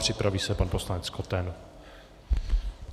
Připraví se pan poslanec Koten.